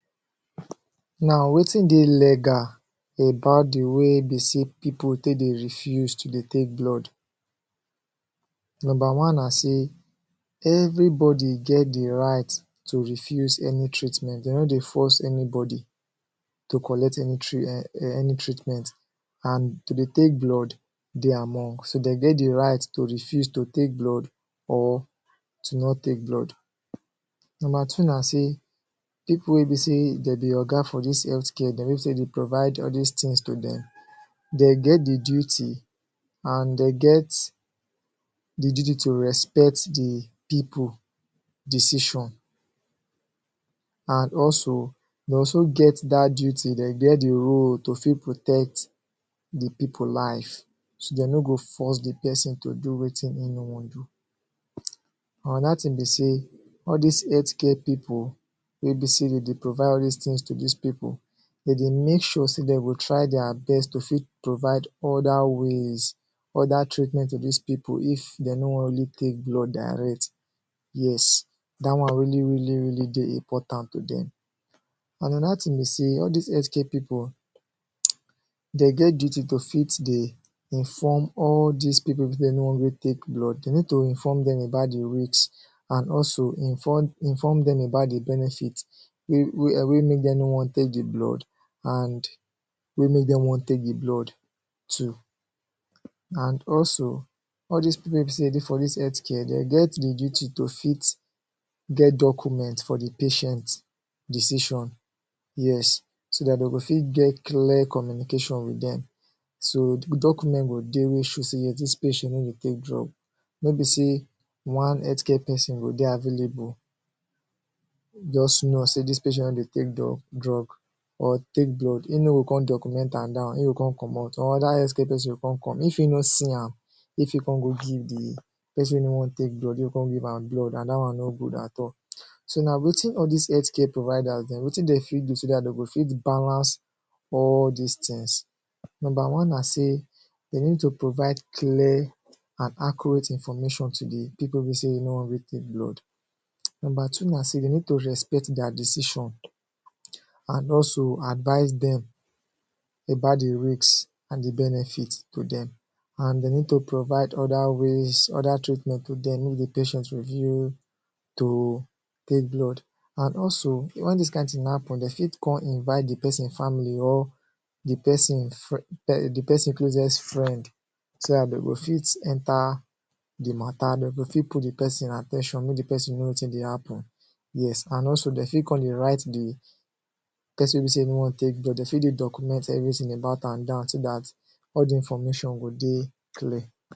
Now, wetin de legal about d way de say pipo de take de refuse to de take blood. Number one na say everybody get the right to refuse any treatment. De no de force anybody to collect any ermm, any treatment and to de take blood de among. So de get right to refuse to take blood or to not take blood. Number two na say pipo weh be say dem be Oga for dis healthcare, de pipo weh be say de de provide all dis Tins to dem, dem get d duty and dem get Duty to respect d pipo decision. And also de get dat duty, dem get de role to also protect de pipo life so de no go force pesin to do wetin en no wan do Anoda to be say, all dis healthcare pipo weh de provide all dis Tins to dis pipo, de de Mek sure say dem try dia best to provide oda ways oda treatment to dis pipo if de no wan really take blood direct. Yes, dat wan really really de important to dem Anoda wan be say, all dis healthcare pipo, de get duty to fit de inform all dis pipo weh no wan take blood, de need to inform dem about the risks and also inform dem about the benefits weh make dem no wan take de blood and weh make dem wan take the blood too And also, all dis pipo weh de for dis healthcare dem get d duty to fit get document for the patient decisions, yes. So dat de go fit get clear communication with dem so de document go de weh go show say dis patient no de take drugs. No be say one healthcare pesin go de available, just know say dis patient no de take drugs, or take blood, e no go come document am down e go come comot, anoda healthcare pesin go come, e fit no see am e fit come go give d pesin weh no de take blood, e fit come go give an blood and dat wan no good at all. So now wetin all dis healthcare providers wetin de fit do so dat dem fit balance all dis Tins, number one na say de need to provide accurate information to de pipo weh no wan take blood. Number two na say de need to respect dia decision and to advise dem about the risks and de benefits to dem. And de need to provide oda ways, oda treatment of de patient refuse to take blood. And also when dis kind tin Happen, de fit invite d pesin family or de pesin closest friend so dat de go fit enta d matta de go fit pull d pesin at ten tion to know wetin de happen, yes. And also de fit come de write de pesin weh be say e no wan take drugs, de fit de document everything about am down so dat, all d information about an go de clear